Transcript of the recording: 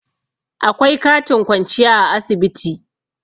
akwai katin kwanciya a asibiti